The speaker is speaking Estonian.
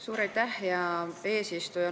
Suur aitäh, hea eesistuja!